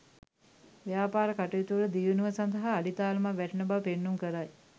ව්‍යාපාර කටයුතුවල දියුණුව සඳහා අඩිතාලමක් වැටෙන බව පෙන්නුම් කරයි.